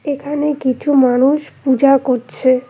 এখানে কিছু মানুষ পূজা করছে।